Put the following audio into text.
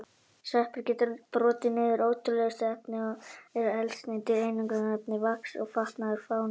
Sveppir geta brotið niður ótrúlegustu efni og eru eldsneyti, einangrunarefni, vax og fatnaður fáein dæmi.